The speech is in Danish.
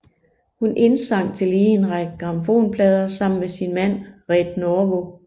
Hun indsang tillige en række grammofonplader sammen med sin mand Red Norvo